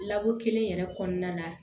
Lako kelen yɛrɛ kɔnɔna la